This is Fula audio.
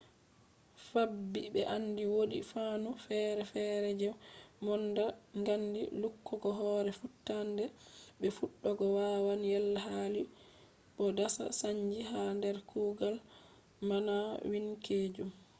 fabbi be andi wodi fannu fere-fere je mbononnda ngaandi lukkugo hore futtannde be fuddugo wawan yella hali bo dasa sannji ha der kuugal maanawwinkeejum